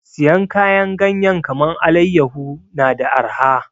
Siyan kayan ganyen kaman allayaho na da arha